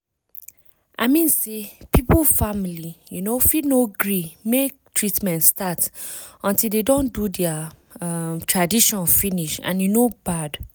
i mean say pipu family um fit no gree make treatment start until de don do dea um tradition finish and e no bad